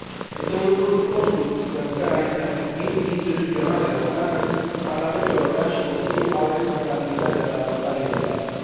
Este un lucru cunoscut că, în sfera instituțională europeană, Parlamentul European și Consiliul au responsabilitatea de a adopta legislația.